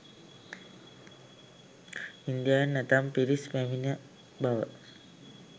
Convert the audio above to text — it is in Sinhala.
ඉන්දියාවෙන් ඇතැම් පිරිස් පැමිණි බව